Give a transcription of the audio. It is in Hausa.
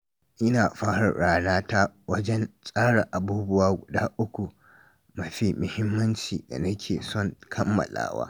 Ina fara rana ta wajen tsara abubuwa guda uku mafi mahimmanci da nake son kammalawa.